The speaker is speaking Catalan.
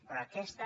però aquesta